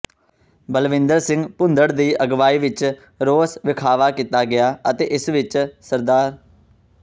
ਬਲਵਿੰਦਰ ਸਿੰਘ ਭੂੰਦੜ ਦੀ ਅਗਵਾਈ ਵਿੱਚ ਰੋਸ ਵਿਖਾਵਾ ਕੀਤਾ ਗਿਆ ਅਤੇ ਇਸ ਵਿੱਚ ਸ